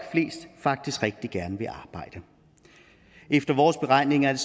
faktisk rigtig gerne vil arbejde efter vores beregninger er